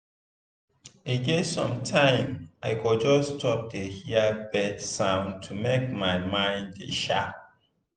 e get sometime i go just stop dey hear bird sound to make my mind dey sharp.